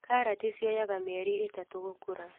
Karati cioyaga mĩeri ĩtatũ gũkũra.